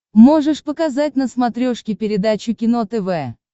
можешь показать на смотрешке передачу кино тв